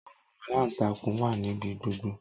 Awọn alantankun wa nibi gbogbo.